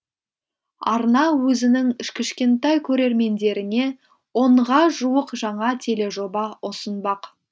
арна өзінің кішкентай көрермендеріне онға жуық жаңа тележоба ұсынбақ